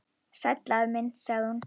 Sæll afi minn sagði hún.